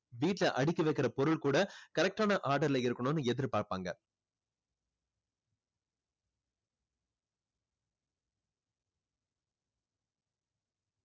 வீட்டுல அடுக்கி வைக்கிற பொருள் கூட correct ஆன order ல இருக்கணும்னு எதிர்பார்ப்பாங்க